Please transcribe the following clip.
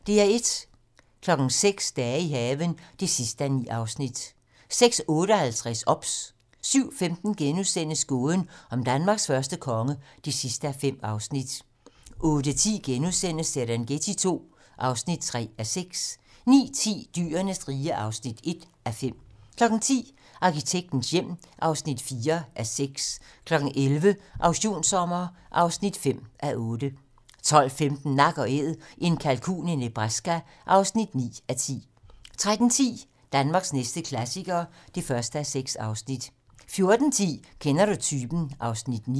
06:00: Dage i haven (9:9) 06:58: OBS 07:15: Gåden om Danmarks første konge (5:5)* 08:10: Serengeti II (3:6)* 09:10: Dyrenes rige (1:5) 10:00: Arkitektens hjem (4:6) 11:00: Auktionssommer (5:8) 12:15: Nak & Æd - en kalkun i Nebraska (9:10) 13:10: Danmarks næste klassiker (1:6) 14:10: Kender du typen? (Afs. 9)